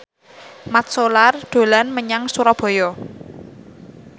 Mat Solar dolan menyang Surabaya